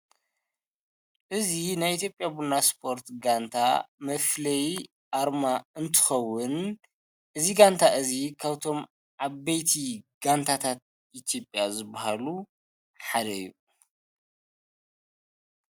እዚ ናይ ኢትዮጴያ ቡና ስፖርት ጋንታ መፍለይ ኣርማ እንትኸውን እዚ ጋንታ እዙይ ካብቶም ዓበይቲ ጋንታታት ኢትዮጵያ ዝበሃሉ ሓደ እዩ፡፡